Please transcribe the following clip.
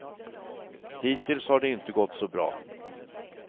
Hittills har det inte gått så bra.